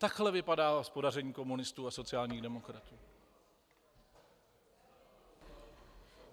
Takhle vypadá hospodaření komunistů a sociálních demokratů.